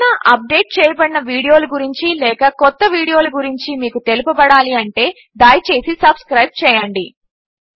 ఏవైనా అప్డేట్ చేయబడిన వీడియోల గురించి లేక కొత్త వీడియోల గురించి మీకు తెలుపబడాలంటే దయచేసి సబ్స్క్రైబ్ చేయండి